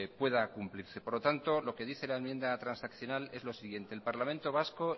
pueda cumplirse por lo tanto lo que dice la enmienda transaccional es lo siguiente el parlamento